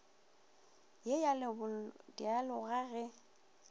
ye ya lebollo dialoga ge